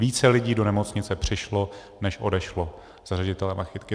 Více lidí do nemocnice přišlo než odešlo za ředitele Machytky.